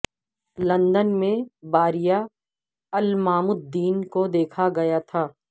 London میں باریا عالمام الدین کو دیکھا گیا تھا